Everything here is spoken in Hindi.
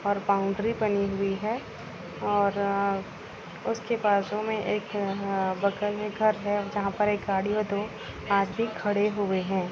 और बाउंड्री बनी हुई है और अ उसके बाजु में एक अ बगल में एक घर है जहाँ पर एक गाड़ी और दो मारुति खड़ी --